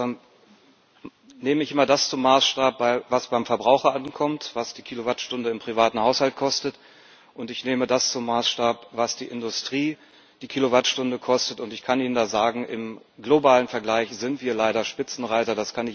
Im Gegensatz zu Ihnen, lieber Kollege, nehme ich immer das zum Maßstab, was beim Verbraucher ankommt, was die Kilowattstunde im privaten Haushalt kostet, und ich nehme das zum Maßstab, was die Industrie die Kilowattstunde kostet. Ich kann Ihnen da sagen Im globalen Vergleich sind wir leider Spitzenreiter.